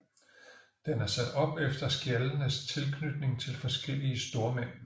Den er sat op efter skjaldenes tilknytning til forskellige stormænd